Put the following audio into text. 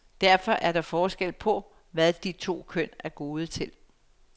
Derfor er der forskel på, hvad de to køn er gode til.